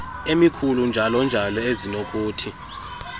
emikhulu njalonjalo ezinokuthi